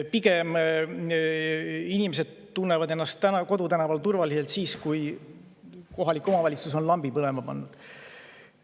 Pigem tunnevad inimesed ennast kodutänaval turvaliselt siis, kui kohalik omavalitsus on lambid põlema pannud.